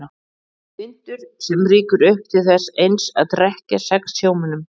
Vindur sem rýkur upp til þess eins að drekkja sex sjómönnum.